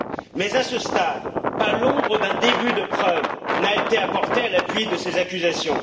Mais à ce stade, pas l'ombre d'un début de preuve n'a été apporté à l'appui de ces accusations.